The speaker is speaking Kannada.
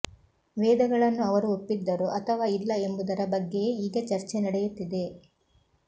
ವೇದಗಳನ್ನು ಅವರು ಒಪ್ಪಿದ್ದರು ಅಥವಾ ಇಲ್ಲ ಎಂಬುದರ ಬಗ್ಗೆಯೇ ಈಗ ಚರ್ಚೆ ನಡೆಯುತ್ತಿದೆ